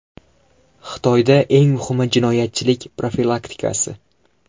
Xitoyda eng muhimi jinoyatchilik profilaktikasi.